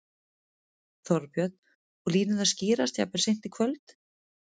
Þorbjörn: Og línurnar skýrast jafnvel seint í kvöld?